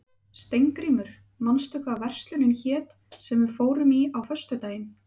Steingrímur, manstu hvað verslunin hét sem við fórum í á föstudaginn?